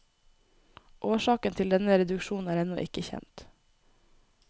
Årsaken til denne reduksjon er ennå ikke kjent.